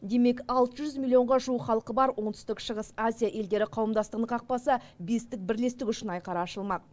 демек алты жүз миллионға жуық халқы бар оңтүстік шығыс азия елдері қауымдастығының қақпасы бестік бірлестік үшін айқара ашылмақ